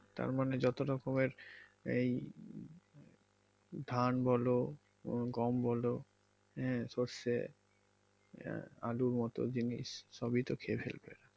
তার মানে যত রকমের এই ধান বলো উহ গম বলো আহ সরষে আহ আলুর মত জিনিস সবই তো খেয়ে ফেলবে।